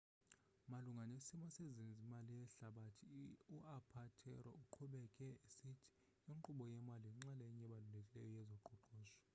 malunga nesimo sezemali yehlabathi u-apatero uqhubeke esithi inkqubo yemali yinxalenye ebalulekileyo yezoqoqosho